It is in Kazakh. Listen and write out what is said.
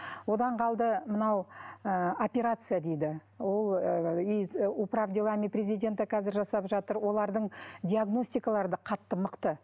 одан қалды мынау ы операция дейді ол управ делами президента қазір жасап жатыр олардың диагностикалары да қатты мықты